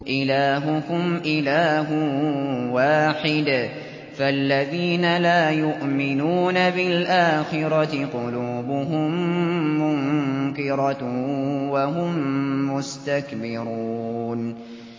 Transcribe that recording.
إِلَٰهُكُمْ إِلَٰهٌ وَاحِدٌ ۚ فَالَّذِينَ لَا يُؤْمِنُونَ بِالْآخِرَةِ قُلُوبُهُم مُّنكِرَةٌ وَهُم مُّسْتَكْبِرُونَ